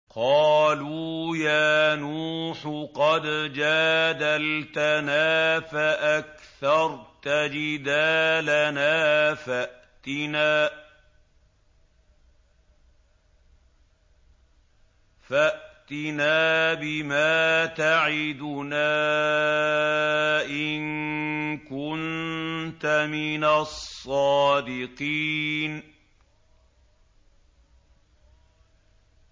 قَالُوا يَا نُوحُ قَدْ جَادَلْتَنَا فَأَكْثَرْتَ جِدَالَنَا فَأْتِنَا بِمَا تَعِدُنَا إِن كُنتَ مِنَ الصَّادِقِينَ